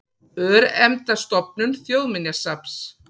Örnefnastofnun Þjóðminjasafns.